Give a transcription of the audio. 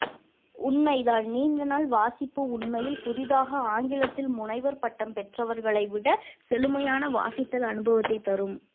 உண்மைதான் நீண்ட நாள் வாசிப்பு உண்மையில் புதிதாக ஆங்கிலத்தில் முனைவர் பட்டம் பெற்றவர்களைவிட செழுமையான வாசித்தல் அனுபவத்தை தரும்